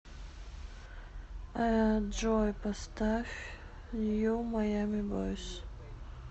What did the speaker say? джой поставь нью маями бойс